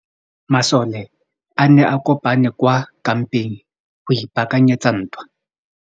Masole a ne a kopane kwa kampeng go ipaakanyetsa ntwa.